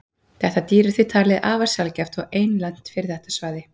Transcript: Þetta dýr er því talið afar sjaldgæft og einlent fyrir þetta svæði.